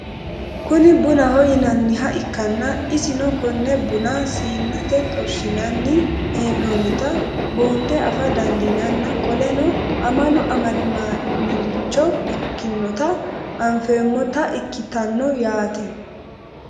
Kuni bunaho yinaniha ikana isino Kone buna siinete xorishinanni hen'onita bunxe afa danidinanna qoleno amalu amadamaniricho ikinota anfemotaa ikitanno yaate?